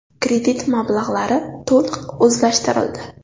Kredit mablag‘lari to‘liq o‘zlashtirildi.